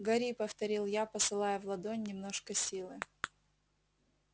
гори повторил я посылая в ладонь немножко силы